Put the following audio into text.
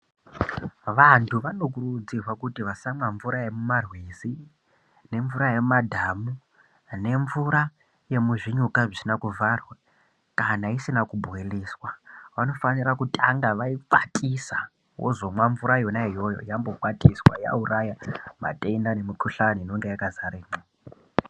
Vantu vano kurudzirwa kuti vasamwa mvura yemumarwizi nemvura yemumadhamu nemvura yemuzvinyuka zvisina kuvharwa kana isina kubhoiliswa. Vanofanira kutanga vaikwatisa wozomwa mvura yona iyoyo yambokwatiswa yauraya matenda nemukuhlani inonga yakazara.